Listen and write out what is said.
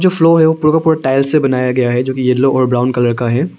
ये फ्लोर है पूरा का पूरा टाइल्स से बनाया गया है जो कि येलो और ब्राउन कलर का है।